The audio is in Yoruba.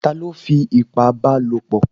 Ta ló fi ipá ba lò pọ̀?